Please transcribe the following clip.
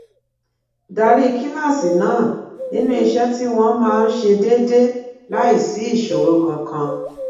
darí kíláàsì náà nínú iṣé tí wón máa ń ṣe déédéé láìsí ìṣòro kankan